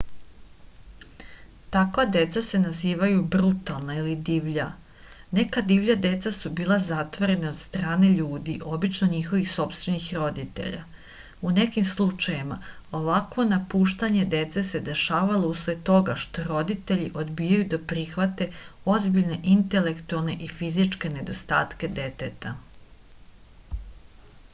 таква деца се називају брутална или дивља. нека дивља деца су била затворена од стране људи обично њихових сопствених родитеља; у неким случајевима овакво напуштање деце се дешава услед тога што родитељи одбијају да прихвате озбиљне интелектуалне и физичке недостатке детета